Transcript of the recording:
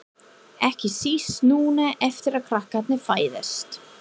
Ekki síst núna eftir að krakkarnir fæddust.